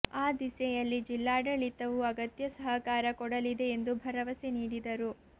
ಆ ದಿಸೆಯಲ್ಲಿ ಜಿಲ್ಲಾಡಳಿತವು ಅಗತ್ಯ ಸಹಕಾರ ಕೊಡಲಿದೆ ಎಂದು ಭರವಸೆ ನೀಡಿದರು